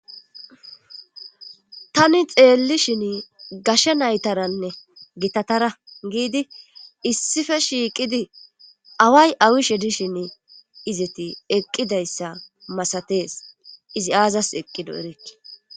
Tani xeellishin gashsha naytaranne gitatara giidi issife shiiqidi away awishe dishin izeti eqqidayssa masatees izi aazas eqqido erekke